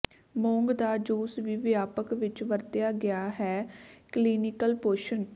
ਮੂੰਗ ਦਾ ਜੂਸ ਵੀ ਵਿਆਪਕ ਵਿੱਚ ਵਰਤਿਆ ਗਿਆ ਹੈ ਕਲੀਨਿਕਲ ਪੋਸ਼ਣ